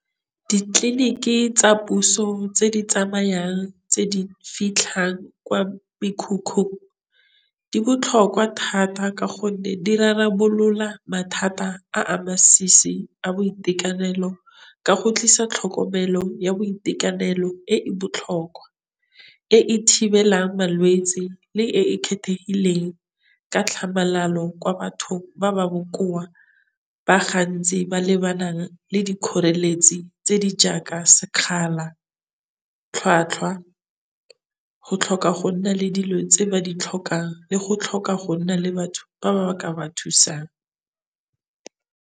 Ditleliniki tsa puso tse di tsamayang, tse di fitlhang kwa mekhukhung, di botlhokwa thata ka gonne di rarabolola mathata a a masisi a boitekanelo ka go tlisa tlhokomelo ya boitekanelo e e botlhokwa. E e thibelang malwetse le e e kgethegileng ka tlhamalalo kwa batho ba ba bokoa ba gantsi ba lebanang le dikgoreletsi tse di jaaka sekgala, tlhwatlhwa, go tlhoka go nna le dilo tse ba di tlhokang le go tlhoka go nna le batho ba ba ka ba thusang.